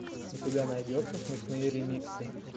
у тебя найдется смешные ремиксы